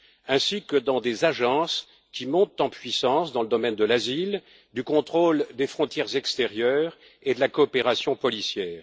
ainsi que dans des agences qui montent en puissance dans le domaine de l'asile, du contrôle des frontières extérieures et de la coopération policière.